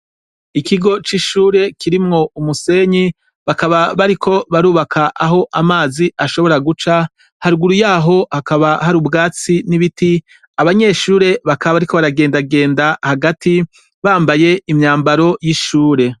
Ikigo c'ishure kirimwo umusenyi bakaba bariko barubaka aho amazi ashobora guca harguru yaho hakaba hari ubwatsi n'ibiti abanyeshure bakaba, ariko baragendagenda hagati bambaye imyambaro y'ishure.